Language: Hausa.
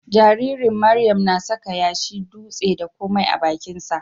Jaririn Miriam na saka yashi, dutse, da komai a bakinsa.